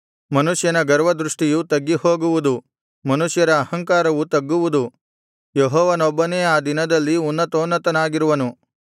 ಮನುಷ್ಯನ ಗರ್ವದೃಷ್ಟಿಯು ತಗ್ಗಿಹೋಗುವುದು ಮನುಷ್ಯರ ಅಹಂಕಾರವು ತಗ್ಗುವುದು ಯೆಹೋವನೊಬ್ಬನೇ ಆ ದಿನದಲ್ಲಿ ಉನ್ನತೋನ್ನತನಾಗಿರುವನು